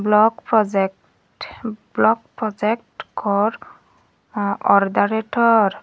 block project block project cor ordanitor.